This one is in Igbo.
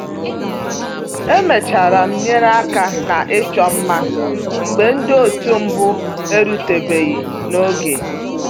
Emechara m nyere aka na ịchọ mma mgbe ndị otu mbụ eruteghi n'oge